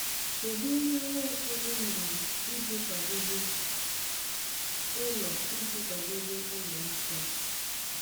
Kedụ ihe Nwaokolo mere iji kwadebe ụlọ iji kwadebe ụlọ nsọ?